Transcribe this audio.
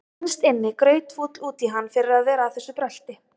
Innst inni grautfúll út í hann fyrir að vera að þessu brölti.